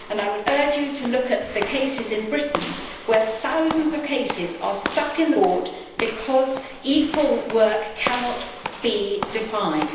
I would urge you to look at the cases in Britain where thousands of cases are stuck in the courts because equal work cannot be defined.